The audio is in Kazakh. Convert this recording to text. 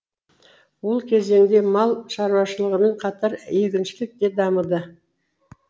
ол кезеңде мал шаруашылығымен қатар егіншілік те дамыды